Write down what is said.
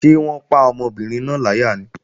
Ṣé wọ́n pa ọmọbìnrin náà láyà ni?